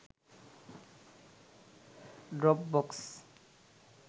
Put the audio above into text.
dropbox